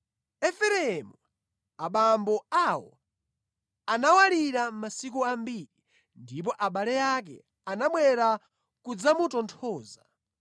Efereimu, abambo awo, anawalira masiku ambiri, ndipo abale ake anabwera kudzamutonthoza.